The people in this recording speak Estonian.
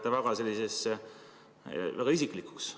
Te lähete väga isiklikuks.